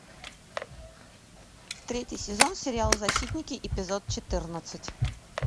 третий сезон сериал защитники эпизод четырнадцать